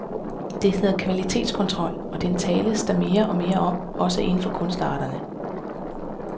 Det hedder kvalitetskontrol, og den tales der mere og mere om også indenfor kunstarterne.